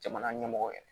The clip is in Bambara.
Jamana ɲɛmɔgɔ yɛrɛ